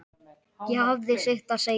Það hafði sitt að segja.